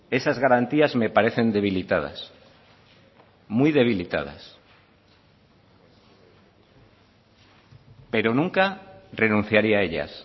esas garantías me parecen debilitadas muy debilitadas pero nunca renunciaría a ellas